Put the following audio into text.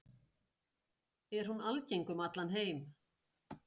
Er hún algeng um allan heim?